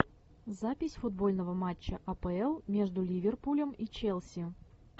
запись футбольного матча апл между ливерпулем и челси